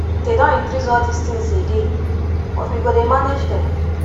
they don increase all dis things again but we go manage dem